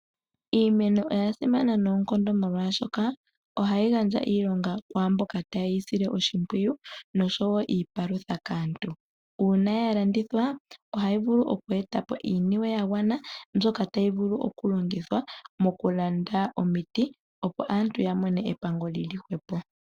Iimeno oya simana noonkondo, molwaashoka Oha yi gandja iilonga kwaamboka taye yi sile oshi mpwiyu nosho wo iipalutha kaantu. Uuna ya landithwa oha yi vulu oku etapo iiniwe ya gwana, mbyoka tayi vulu oku landa omiti opo aantu ya vule oku mona epango djili hwepo.